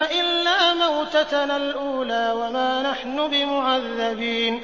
إِلَّا مَوْتَتَنَا الْأُولَىٰ وَمَا نَحْنُ بِمُعَذَّبِينَ